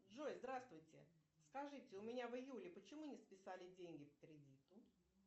джой здравствуйте скажите у меня в июле почему не списали деньги по кредиту